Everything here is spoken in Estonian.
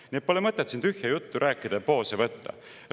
Nii et pole mõtet siin tühja juttu rääkida, poose võtta.